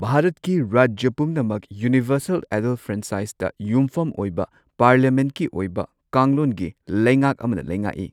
ꯚꯥꯔꯠꯀꯤ ꯔꯥꯖ꯭ꯌ ꯄꯨꯝꯅꯃꯛ ꯌꯨꯅꯤꯚꯔꯁꯦꯜ ꯑꯦꯗꯜꯠ ꯐ꯭ꯔꯦꯟꯆꯥꯏꯁꯇ ꯌꯨꯝꯐꯝ ꯑꯣꯏꯕ ꯄꯥꯔꯂꯤꯌꯥꯃꯦꯟꯠꯀꯤ ꯑꯣꯏꯕ ꯀꯥꯡꯂꯣꯟꯒꯤ ꯂꯩꯉꯥꯛ ꯑꯃꯅ ꯂꯩꯉꯥꯛꯏ꯫